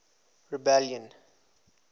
rebellion